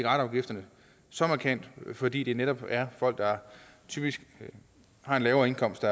afgifterne så markant vil fordi det netop er folk der typisk har en lavere indkomst